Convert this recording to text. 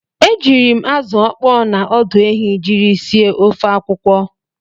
E jiiri m azụ ọkpọọ na ọdụ ehi jiri sie ofe akwụkwọ.